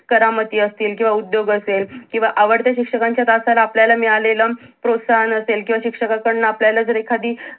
करामती असतील किंवा उद्योग असेल किंवा आवडत्या शिक्षकांच्या तासाला आपल्याला मिळालेलं प्रोत्साहन असेल किंवा शिक्षकांकड्न आपल्याला जर एखादी